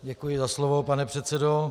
Děkuji za slovo, pane předsedo.